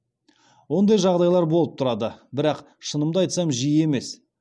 ондай жағдайлар болып тұрады бірақ шынымды айтсам жиі емес